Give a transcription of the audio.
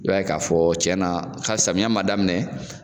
I b'a ye k'a fɔ cɛn na samiya man daminɛ.